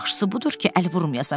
Yaxşısı budur ki, əl vurmayasan.